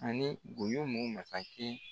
Ani boyomo masakɛ